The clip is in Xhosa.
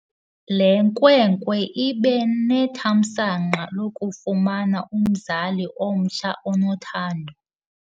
Le nkwenkwe ibe nethamsanqa lokufumana umzali omtsha onothando.